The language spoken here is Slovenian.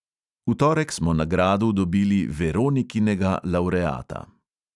V torek smo na gradu dobili veronikinega lavreata.